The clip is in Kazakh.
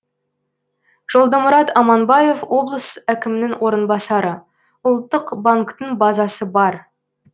жолдымұрат аманбаев облыс әкімінің орынбасары ұлттық банктің базасы бар